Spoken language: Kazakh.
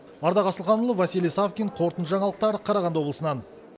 ардақ асылханұлы василий савкин қорытынды жаңалықтар қарағанды облысынан